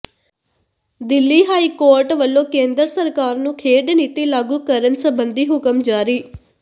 Delhi high court ਵੱਲੋਂ ਕੇਂਦਰ ਸਰਕਾਰ ਨੂੰ ਖੇਡ ਨੀਤੀ ਲਾਗੂ ਕਰਨ ਸਬੰਧੀ ਹੁਕਮ ਜਾਰੀ